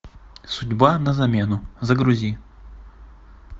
судьба на замену загрузи